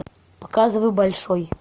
показывай большой